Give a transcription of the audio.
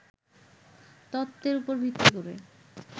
তত্ত্বের উপর ভিত্তি করে